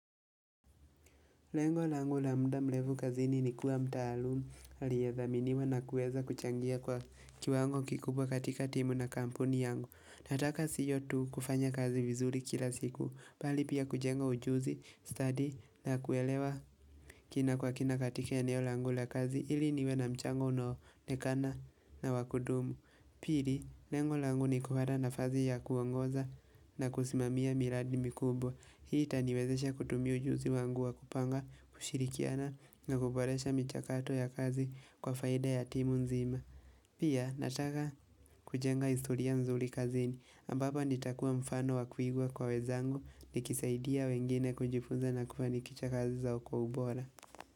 Lengo langu la muda mrefu kazini ni kuwa mtaalumu aliyethaminiwa na kuweza kuchangia kwa kiwango kikubwa katika timu na kampuni yangu. Nataka sio tu kufanya kazi vizuri kila siku, bali pia kujenga ujuzi, stadi na kuelewa kina kwa kina katika eneo langu la kazi ili niwe na mchango unaoonekana na wa kudumu. Pili, lengo langu ni kuwa na nafasi ya kuongoza na kusimamia miradi mikubwa. Hii itaniwezesha kutumia ujuzi wangu wa kupanga, kushirikiana na kuboresha michakato ya kazi kwa faida ya timu nzima. Pia, nataka kujenga historia nzuri kazini. Ambapo nitakuwa mfano wa kuigwa kwa wenzangu nikisaidia wengine kujifuza na kufanikisha kazi zao kwa ubora.